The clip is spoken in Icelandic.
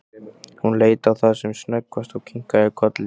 Hún leit á það sem snöggvast og kinkaði kolli.